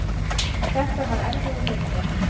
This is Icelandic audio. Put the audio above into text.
En þetta var erfiður leikur